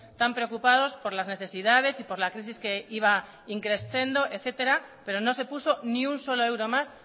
tan preocupados por las necesidades y por la crisis que iba in crescendo etcétera pero no se puso ni un solo euro más